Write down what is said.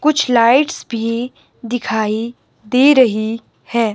कुछ लाइट्स भी दिखाई दे रही हैं।